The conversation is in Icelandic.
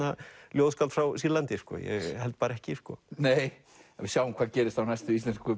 ljóðskáld frá Sýrlandi ég held bara ekki sko við sjáum hvað gerist á næstu Íslensku